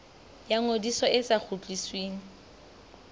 ya ngodiso e sa kgutlisweng